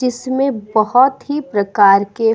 जिसमें बहोत ही प्रकार के --